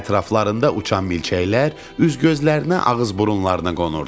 Ətraflarında uçan milçəklər üz-gözlərinə, ağız-burunlarına qonurdu.